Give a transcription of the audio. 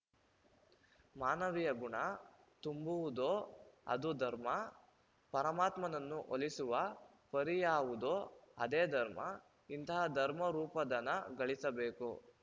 ಮಾನವಿಯ ಗುಣ ತುಂಬುವುದೋ ಅದು ಧರ್ಮ ಪರಮಾತ್ಮನನ್ನು ಒಲಿಸುವ ಪರಿಯಾವುದೋ ಅದೇ ಧರ್ಮ ಇಂತಹ ಧರ್ಮರೂಪಧನ ಗಳಿಸಬೇಕು